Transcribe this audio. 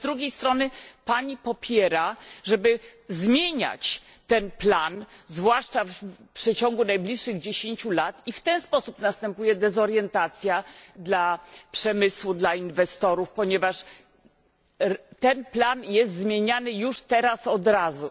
Ale z drugiej strony Pani popiera, żeby zmieniać ten plan, zwłaszcza w przeciągu najbliższych dziesięciu lat i w ten sposób następuje dezorientacja dla przemysłu, dla inwestorów, ponieważ ten plan jest zmieniany już teraz, od razu.